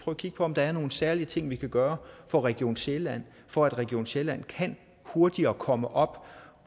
at kigge på om der er nogle særlige ting vi kan gøre for region sjælland for at region sjælland hurtigere kan komme op